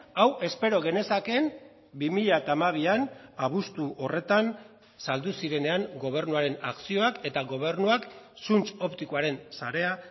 hau espero genezaken bi mila hamabian abuztu horretan saldu zirenean gobernuaren akzioak eta gobernuak zuntz optikoaren sarea